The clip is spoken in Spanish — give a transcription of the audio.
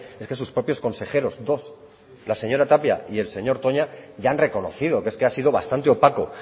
es que sus propios consejeros dos la señora tapia y el señor toña ya han reconocido que es que ha sido bastante opaco